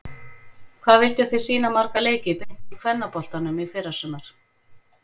Hvað vilduð þið sýna marga leiki beint úr kvennaboltanum í fyrrasumar?